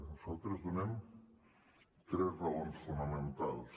nosaltres donem tres raons fonamentals